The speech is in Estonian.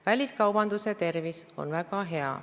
Väliskaubanduse tervis on väga hea.